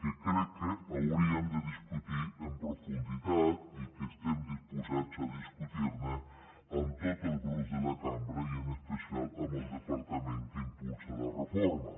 que crec que hauríem de discutir amb profunditat i que estem disposats a discutir ne amb tots els grups de la cambra i en especial amb el departament que impulsa la reforma